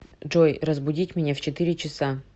джой разбудить меня в четыре часа